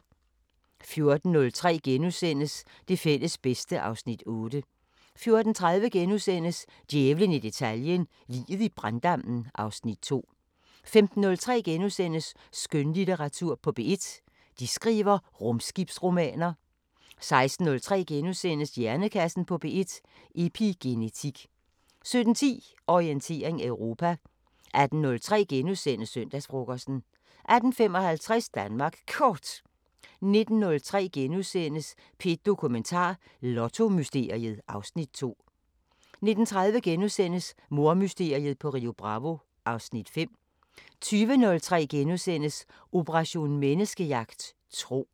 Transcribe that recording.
14:03: Det fælles bedste (Afs. 8)* 14:30: Djævlen i detaljen – Liget i branddammen (Afs. 2)* 15:03: Skønlitteratur på P1: De skriver rumskibsromaner * 16:03: Hjernekassen på P1: Epigenetik * 17:10: Orientering Europa 18:03: Søndagsfrokosten * 18:55: Danmark Kort 19:03: P1 Dokumentar: Lottomysteriet (Afs. 2)* 19:30: Mordmysteriet på Rio Bravo (Afs. 5)* 20:03: Operation Menneskejagt: Tro *